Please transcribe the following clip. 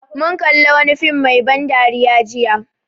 Mun kalli wani fim mai ban dariya jiya